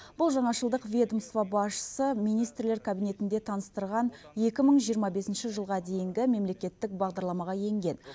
бұл жаңашылдық ведомство басшысы министрлер кабинетінде таныстырған екі мың жиырма бесінші жылға дейінгі мемлекеттік бағдарламаға енген